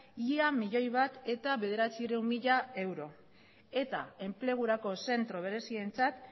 ia milioi bat bederatziehun mila euro eta enplegurako zentro berezientzat